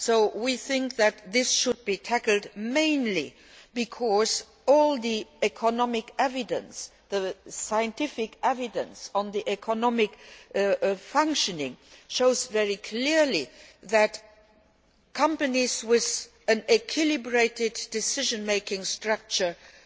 So we think that this should be tackled, mainly because all the economic evidence and the scientific evidence on economic functioning shows very clearly that companies with an balanced decision making structure have